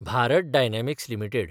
Bharat Dynamics limited